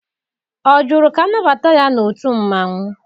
Ọ jụrụ ka anabata ya n'otu mmanwụ?